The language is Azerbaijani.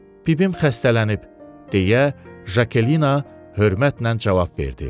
Bibim xəstələnib, - deyə Jakelina hörmətlə cavab verdi.